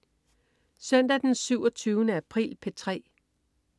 Søndag den 27. april - P3: